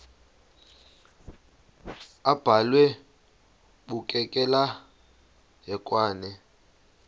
abhalwe bukekela hekwane